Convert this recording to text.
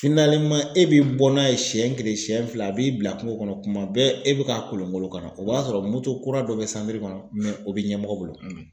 e bɛ bɔ n'a ye siyɛn kelen siyɛn fila a b'i bila kungo kɔnɔ kuma bɛɛ e bɛ ka kolonkolo ka na o b'a sɔrɔ kura dɔ bɛ kɔnɔ o bɛ ɲɛmɔgɔ bolo.